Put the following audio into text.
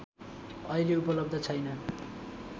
अहिले उपलब्ध छैन